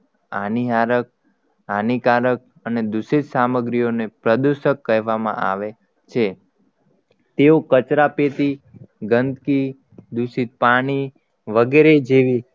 આનીહારક હાનીકારક અને દુષિત સામગ્રીઓ ને પ્રદુસક કહેવામાં આવે છે તેઓ કચરાપેટી ગંદકી દુષિત પાણી વગેરે જેવી